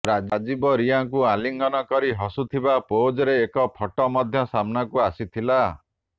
ରାଜୀବ ରିଆଙ୍କୁ ଆଲିଙ୍ଗନ କରି ହସୁଥିବା ପୋଜରେ ଏକ ଫଟୋ ମଧ୍ୟ ସାମ୍ନାକୁ ଆସିଥିଲା